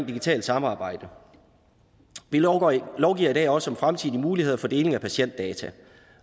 digitale samarbejde vi lovgiver lovgiver i dag også om fremtidige muligheder for deling af patientdata